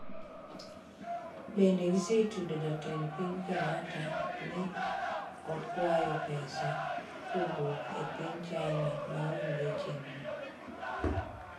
Bende gisetudo Jatend Piny Kenyatta ni okwayo pesa kowuok e piny China maonge chenro.